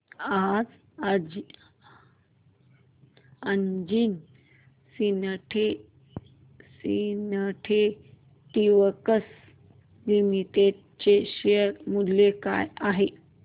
आज Anjani synthetics limited चे share मूल्य काय आहे